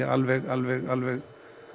alveg alveg alveg